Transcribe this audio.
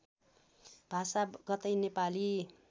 भाषा कतै नेपाली